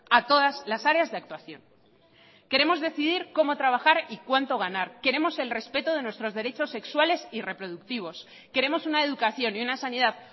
a todas las áreas de actuación queremos decidir cómo trabajar y cuánto ganar queremos el respeto de nuestros derechos sexuales y reproductivos queremos una educación y una sanidad